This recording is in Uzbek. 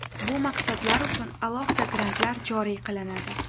Bu maqsadlar uchun alohida grantlar joriy qilinadi.